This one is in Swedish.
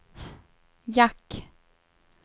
jack